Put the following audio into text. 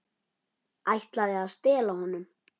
Ætlaði að stela honum!